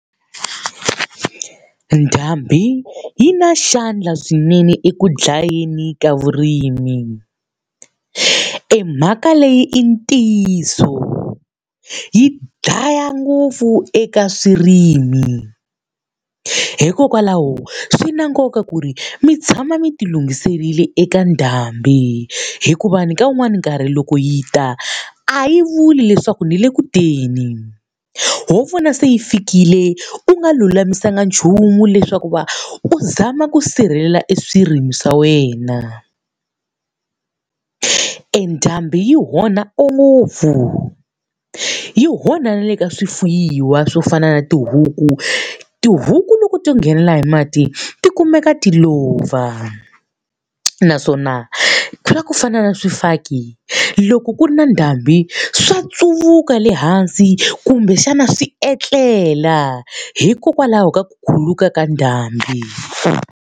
Ndhambi yi na xandla swinene eku dlayeni ka vurimi. E mhaka leyi i ntiyiso, yi dlaya ngopfu eka swirimi. Hikokwalaho swi na nkoka ku ri mi tshama mi ti lunghiserile eka ndhambi. Hikuva ni ka wun'wani nkarhi loko yi ta, a yi vuli leswaku ni le ku teni. Ho vona se yi fikile u nga lulamisaka nchumu leswaku va u zama ku sirhelela e swirimi swa wena. E ndhambi yi onha ngopfu, yi onha na le ka swifuwiwa swo fana na tihuku. Tihuku loko to nghenela hi mati ti kumeka ti lova. Naswona ku lava ku fana na swifaki, loko ku ri na ndhambi swa ntsuvuka le hansi kumbexana swi etlela hikokwalaho ka ku khuluka ka ndhambi.